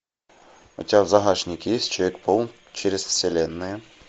у тебя в загашнике есть человек паук через вселенные